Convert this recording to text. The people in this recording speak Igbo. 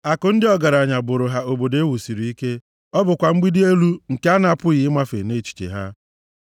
Akụ ndị ọgaranya bụrụ ha obodo e wusiri ike, ọ bụkwa mgbidi dị elu nke a na-apụghị ịmafe nʼechiche ha.